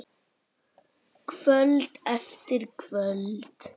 Kvöld eftir kvöld.